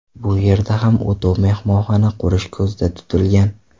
Bu yerda ham o‘tov mehmonxona qurish ko‘zda tutilgan.